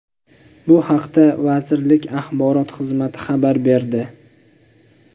Bu haqda vazirlik Axborot xizmati xabar berdi.